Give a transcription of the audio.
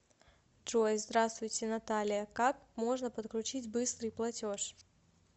джой здравствуйте наталия как можно подключить быстрый платеж